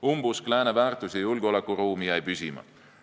Umbusk lääne väärtus- ja julgeolekuruumi vastu jäi püsima.